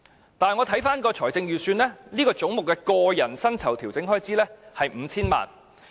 然而，我再看財政預算，此總目的個人薪酬調整開支是 5,000 萬元。